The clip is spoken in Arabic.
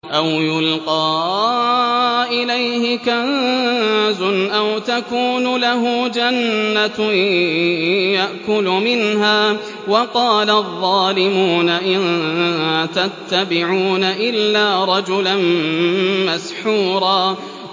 أَوْ يُلْقَىٰ إِلَيْهِ كَنزٌ أَوْ تَكُونُ لَهُ جَنَّةٌ يَأْكُلُ مِنْهَا ۚ وَقَالَ الظَّالِمُونَ إِن تَتَّبِعُونَ إِلَّا رَجُلًا مَّسْحُورًا